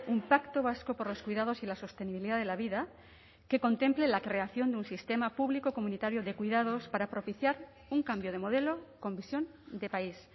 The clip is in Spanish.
un pacto vasco por los cuidados y la sostenibilidad de la vida que contemple la creación de un sistema público comunitario de cuidados para propiciar un cambio de modelo con visión de país